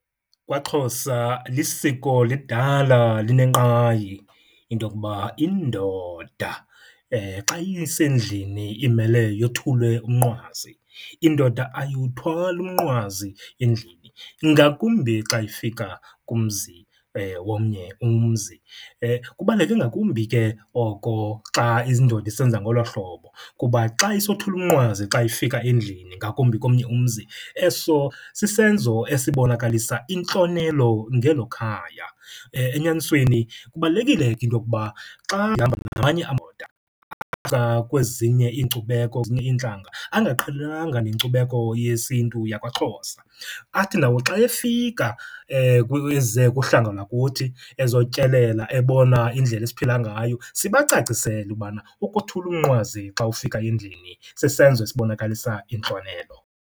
KwaXhosa lisiko lidala linenkqayi into okuba indoda xa isendlini imele yothule umnqwazi. Indoda ayiwuthwali umnqwazi endlini, ingakumbi xa ifika kumzi womnye umzi. Kubaluleke ngakumbi ke oko xa indoda isenza ngolo hlobo kuba xa isothula umnqwazi xa ifika endlini, ngakumbi komnye umzi, eso sisenzo esibonakalisa intlonelo ngelo khaya. Enyanisweni kubalulekile ke into okuba xa ihamba namanye amadoda kwezinye iinkcubeko, kwezinye iintlanga, angaqhelananga nenkcubeko yesintu yakwaXhosa athi nawo xa efika eze kuhlanga lwakuthi ezotyelela ebona indlela esiphila ngayo, sibacacisele ubana ukothula umnqwazi xa ufika endlini sisenzo esibonakalisa intlonelo.